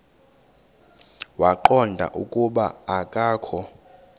waqonda ukuba akokho